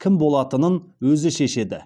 кім болатынын өзі шешеді